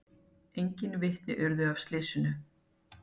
Engin vitni urðu að slysinu